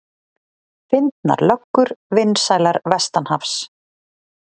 Fyndnar löggur vinsælar vestanhafs